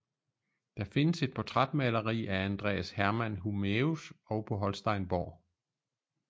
Der findes et portrætmaleri af andreas herman hunæus og på holsteinborg